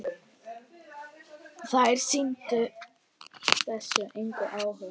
Þær sýndu þessu engan áhuga.